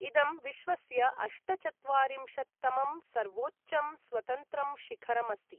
इदं विश्वस्य अष्टचत्वारिंशत्तमं सर्वोच्चं स्वतन्त्रं शिखरम् अस्ति।